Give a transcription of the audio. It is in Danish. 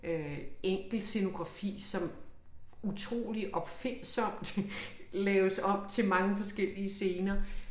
Øh enkel scenografi som utrolig opfindsomt laves om til mange forskellige scener